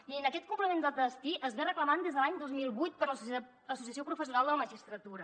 mirin aquest complement de destí es reclama des de l’any dos mil vuit per l’associació professional de la magistratura